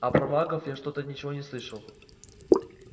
а про магов я что-то ничего не слышал